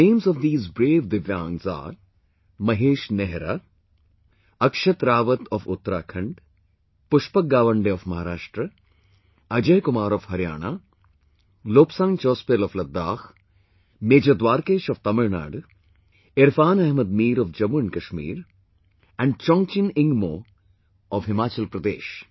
The names of these brave Divyangs are Mahesh Nehra, Akshat Rawat of Uttarakhand, Pushpak Gawande of Maharashtra, Ajay Kumar of Haryana, Lobsang Chospel of Ladakh, Major Dwarkesh of Tamil Nadu, Irfan Ahmed Mir of Jammu and Kashmir and Chongjin Ingmo of Himachal Pradesh